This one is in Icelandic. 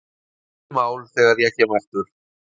Búið mál þegar ég kem aftur